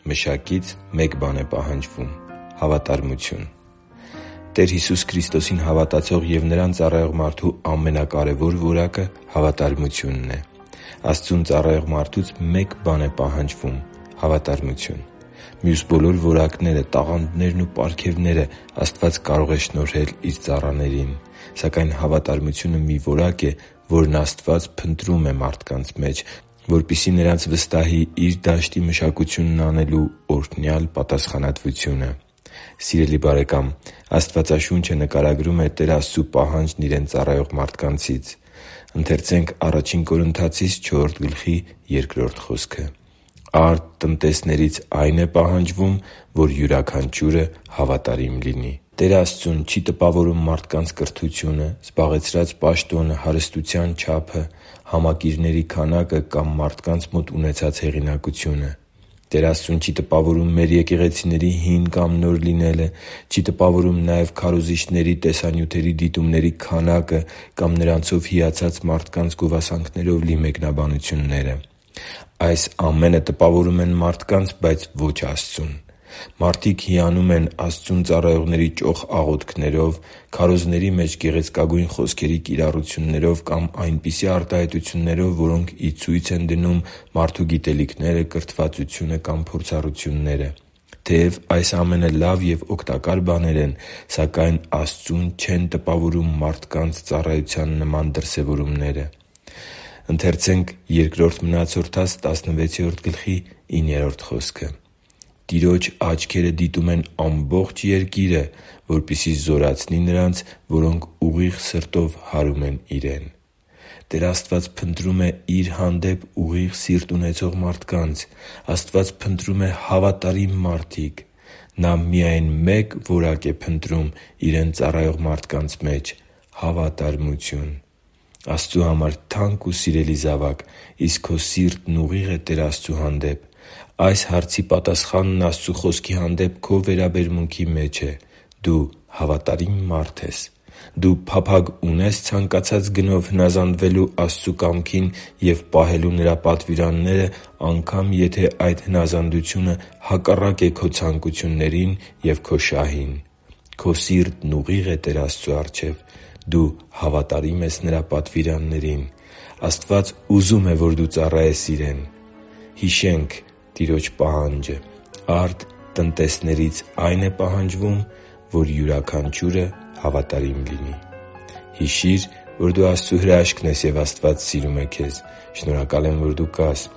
Մշակից մեկ բան է պահանջվում՝ հավատարմություն Տեր Հիսուս Քրիստոսին հավատացող և Նրան ծառայող մարդու ամենակարևոր որակը հավատարմությունն է։ Աստծուն ծառայող մարդուց մի բան է պահանջվում՝ հավատարմություն։ Մյուս բոլոր որակները, տաղանդներն ու պարգևները Աստված կարող է շնորհել Իր ծառաներին։ Սակայն հավատարմությունը մի որակ է, որն Աստված փնտրում է մարդկանց մեջ, որպեսզի նրանց վստահի Իր դաշտի մեջ մշակություն անելու օրհնյալ պատասխանատվությունը։ Սիրելի՛ բարեկամ, Աստվածաշունչը նկարագրում է Տեր Աստծու պահանջն Իրեն ծառայող մարդկանցից․ «Արդ տնտեսներից այն է պահանջվում, որ յուրաքանչյուրը հավատարիմ լինի» (Ա Կորնթացիս 4.2)։ Տեր Աստծուն չի տպավորում մարդկանց կրթությունը, զբաղեցրած պաշտոնը, հարստության չափը, համակիրների քանակը կամ մարդկանց մոտ ունեցած հեղինակությունը։ Տեր Աստծուն չի տպավորում մեր եկեղեցիների հին կամ նոր լինելը, չի տպավորում նաև քարոզիչների տեսանյութերի դիտումների քանակը կամ նրանցով հիացած մարդկանց գովասանքներով լի մեկնաբանությունները։ Այս ամենը տպավորում են մարդկանց, բայց ոչ Աստծուն։ Մարդիկ հիանում են Աստծուն ծառայողների ճոխ աղոթքներով, քարոզների մեջ գեղեցկագույն խոսքերի կիրառություններով կամ այնպիսի արտահայտություններով, որոնք ի ցույց են դնում մարդու գիտելիքները, կրթվածությունը կամ փորձառությունները։ Թեև այս ամենը լավ և օգտակար բաներ են, սակայն Աստծուն չեն տպավորում մարդկանց ծառայության նման դրսևորումները։ «Տիրոջ աչքերը դիտում են ամբողջ երկիրը, որպեսզի զորացնի նրանց, որոնք ուղիղ սրտով հարում են Իրեն» (Բ Մնացորդաց 16.9)։ Տեր Աստված փնտրում է Իր հանդեպ ուղիղ սիրտ ունեցող մարդկանց։ Աստված փնտրում է հավատարիմ մարդկանց։ Նա միայն մեկ որակ է փնտրում Իրեն ծառայող մարդկանց մեջ՝ հավատարմություն։ Աստծու համար թանկ ու սիրելի՛ զավակ, իսկ քո սիրտն ուղի՞ղ է Տեր Աստծու հանդեպ։ Այս հարցի պատասխանն Աստծու Խոսքի հանդեպ քո վերաբերմունքի մեջ է։ Դու հավատարի՞մ մարդ ես։ Դու փափագ ունե՞ս ցանկացած գնով հնազանդվելու Աստծու կամքին ու պահելու Նրա պատվիրանները, անգամ՝ եթե այդ հնազանդությունը հակառակ է քո ցանկություններին և քո շահին։ Քո սիրտն ուղի՞ղ է Տեր Աստծու առջև։ Դու հավատարի՞մ ես Նրա պատվիրաններին։ Աստված ուզում է, որ դու ծառայես Իրեն։ «Արդ տնտեսներից այն է պահանջվում, որ յուրաքանչյուրը հավատարիմ լինի»։ Հիշի՛ր, որ դու Աստծո հրաշքն ես, և Աստված սիրում է քեզ։ Շնորհակալ եմ, որ դու կա՛ս